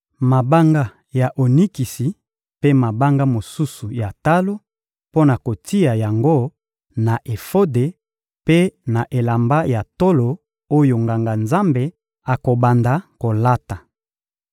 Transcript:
mabanga ya onikisi mpe mabanga mosusu ya talo mpo na kotia yango na efode mpe na elamba ya tolo oyo Nganga-Nzambe akobanda kolata.